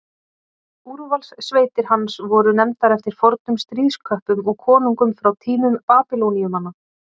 úrvalssveitir hans voru nefndar eftir fornum stríðsköppum og konungum frá tímum babýloníumanna